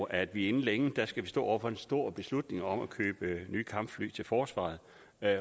at vi inden længe står over for en stor beslutning om at købe nye kampfly til forsvaret